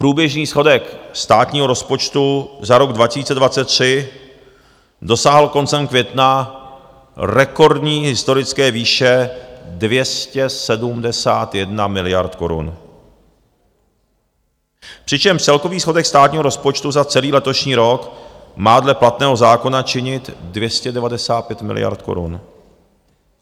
Průběžný schodek státního rozpočtu za rok 2023 dosáhl koncem května rekordní historické výše 271 miliard korun, přičemž celkový schodek státního rozpočtu za celý letošní rok má dle platného zákona činit 295 miliard korun.